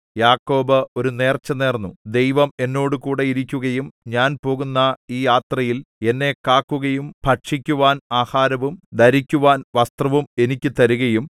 യാക്കോബ് ഒരു നേർച്ചനേർന്നു ദൈവം എന്നോടുകൂടെ ഇരിക്കുകയും ഞാൻ പോകുന്ന ഈ യാത്രയിൽ എന്നെ കാക്കുകയും ഭക്ഷിക്കുവാൻ ആഹാരവും ധരിക്കുവാൻ വസ്ത്രവും എനിക്ക് തരികയും